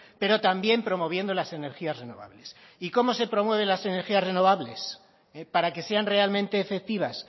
pero también promoviendo las energías renovables y cómo se promueven las energías renovables para que sean realmente efectivas